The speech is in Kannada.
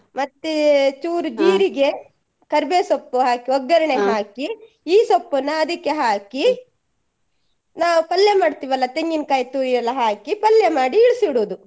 ಮತ್ತೇ ಚೂರು ಕರ್ಬೆವ್ ಸೊಪ್ಪು ಹಾಕಿ ಒಗ್ಗರಣೆ ಈ ಸೊಪ್ಪುನ್ನ ಅದಿಕ್ಕೆ ಹಾಕಿ ನಾವ್ ಪಲ್ಯ ಮಾಡ್ತೀವಲ್ಲ ತೆಂಗಿನ್ ಕಾಯಿ ತುರಿ ಎಲ್ಲ ಹಾಕಿ ಪಲ್ಯ ಮಾಡಿ ಇಳ್ಸಿಡುದು.